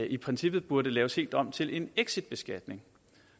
i princippet burde laves helt om til en exitbeskatning